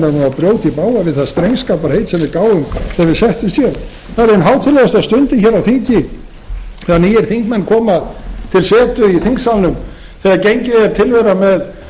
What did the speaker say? í bága við það drengskaparheit sem við gáfum þegar við settumst hér það er ein hátíðlegasta stundin hér á þingi þegar nýir þingmenn koma til setu í þingsalnum þegar gengið er til þeirra með